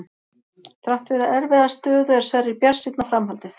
Þrátt fyrir erfiða stöðu er Sverrir bjartsýnn á framhaldið.